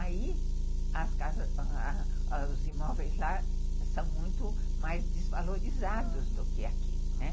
aí os imóveis lá são muito mais desvalorizados do que aqui, né.